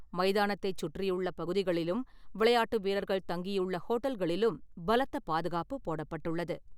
மைதானத்தைச் சுற்றியுள்ள பகுதிகளிலும், விளையாட்டு வீரர்கள் தங்கியுள்ள ஹோட்டல்களிலும் பலத்த பாதுகாப்பு போடப்பட்டுள்ளது.